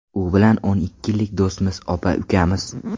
U bilan o‘n ikki yillik do‘stmiz, opa-ukamiz.